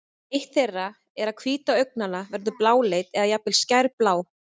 eitt þeirra er að hvíta augnanna verður bláleit eða jafnvel skærblá